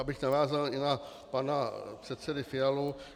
Abych navázal i na pana předsedu Fialu.